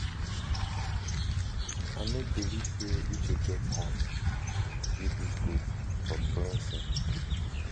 i no believe say uche get heart kill dis goat for cleansing